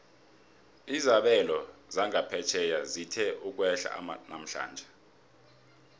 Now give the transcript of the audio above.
izabelo zangaphetjheya zithe ukwehla namhlanje